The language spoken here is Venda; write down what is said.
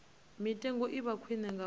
mitengo i vha khwine ngauri